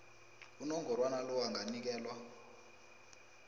unongorwana lo anganikelwa